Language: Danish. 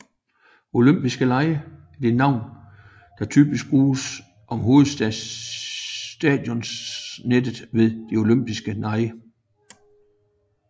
Olympisk stadion er det navn der typisk bruges om hovedstadionet ved De Olympiske Lege